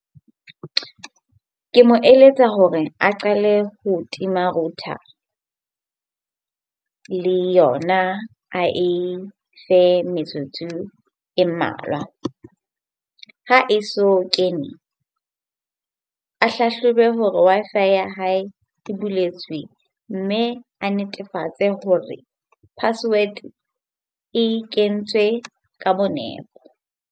Ke mo eletsa hore a qale ho tima router le yona a e fe metsotso e mmalwa. Ho ha e so kene a hlahlobe hore Wi-Fi ya hae e buletswe mme a netefatse hore password e kentswe ka bo nepo.